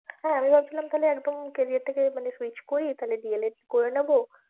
হ্যাঁ আমি ভাবছিলাম তাহলে একদম career টা কে মানে switch করি তাহলে D. el. ed করে নেবো।